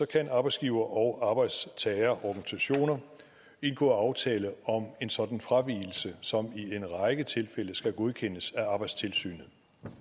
kan arbejdsgiver og arbejdstagerorganisationer indgå aftale om en sådan fravigelse som i en række tilfælde skal godkendes af arbejdstilsynet